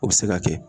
O bɛ se ka kɛ